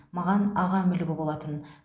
маған ағам үлгі болатын